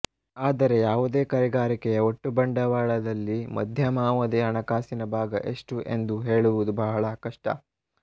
ಆದರೆ ಯಾವುದೇ ಕೈಗಾರಿಕೆಯ ಒಟ್ಟು ಬಂಡವಾಳದಲ್ಲಿ ಮಧ್ಯಮಾವಧಿ ಹಣಕಾಸಿನ ಭಾಗ ಎಷ್ಟು ಎಂದು ಹೇಳುವುದು ಬಹಳ ಕಷ್ಟ